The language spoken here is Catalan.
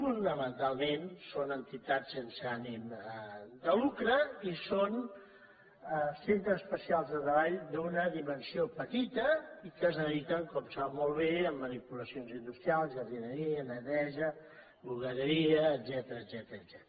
fonamentalment són entitats sense ànim de lucre i són centres especials de treball d’una dimensió petita i que es dediquen com sap molt bé a manipulacions industrials jardineria neteja bugaderia etcètera